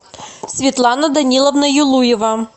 светлана даниловна юлуева